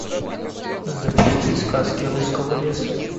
запусти сказки русского леса